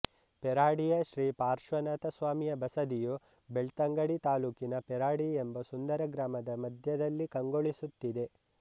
ಪೆರಾಡಿಯ ಶ್ರೀ ಪಾರ್ಶ್ವನಾಥ ಸ್ವಾಮಿಯ ಬಸದಿಯು ಬೆಳ್ತಂಗಡಿ ತಾಲೂಕಿನ ಪೆರಾಡಿ ಎಂಬ ಸುಂದರ ಗ್ರಾಮದ ಮಧ್ಯದಲ್ಲಿ ಕಂಗೊಳಿಸುತ್ತಿದೆ